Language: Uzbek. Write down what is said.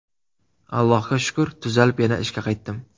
Allohga shukur, tuzalib yana ishga qaytdim.